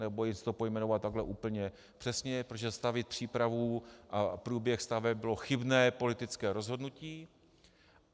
Nebojím se to pojmenovat takhle úplně přesně, protože zastavit přípravu a průběh staveb bylo chybné politické rozhodnutí.